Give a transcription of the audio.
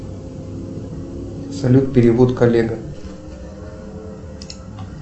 салют перевод коллега